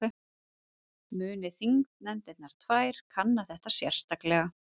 Muni þingnefndirnar tvær kanna þetta sérstaklega